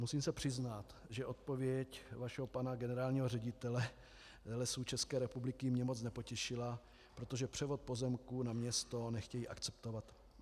Musím se přiznat, že odpověď vašeho pana generálního ředitele Lesů České republiky mě moc nepotěšila, protože převod pozemků na město nechtějí akceptovat.